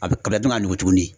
A bɛ ka bila dun ka nugu tugunni.